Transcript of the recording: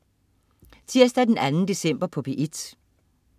Tirsdag den 2. december - P1: